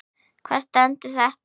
Hvar stendur þetta?